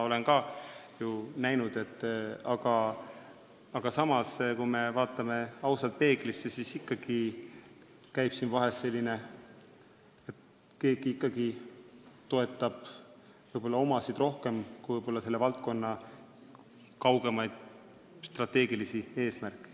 Aga samas, kui me vaatame ausalt peeglisse, siis ikkagi on siin vahest nii, et keegi toetab võib-olla omasid rohkem kui selle valdkonna kaugemaid strateegilisi eesmärke.